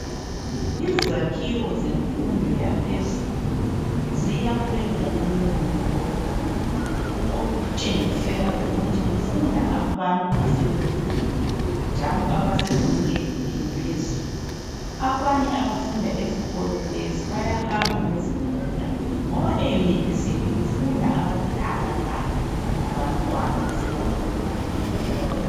Izakhiwo zemfundo yaphezulu ziyakhwe ngobunono obukhulu okutshengisela ukuthi kufunda abantu asebekhulile njalo abasezingeni eliphezulu. Abanye abafunda esikolo lesi bayahamba ngezimota ngoba e yunivesithi kufunda abadala kanye labantwana aseba khula khulile.